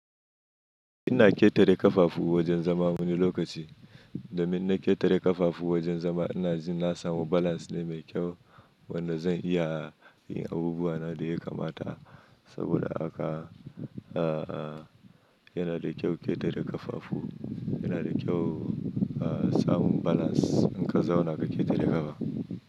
Ina ƙetare ƙafafu wajen zama wani lokaci. Domin in na ƙetare ƙafafu wajen zama ina ji na samu balance mai kyau wanda zan iya yin abubuwa na da ya kamata. Saboda haka yana da kyau ƙetare ƙafafu. Yana da kyau samun balance in ka zauna ka ƙetare ƙafa.